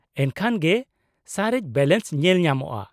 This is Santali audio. -ᱮᱱᱠᱷᱟᱱ ᱜᱮ ᱥᱟᱨᱮᱡ ᱵᱮᱞᱮᱱᱥ ᱧᱮᱞᱧᱟᱢᱚᱜᱼᱟ ᱾